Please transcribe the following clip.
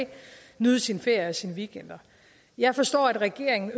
nyde sine ferier og sine weekender jeg forstår at regeringen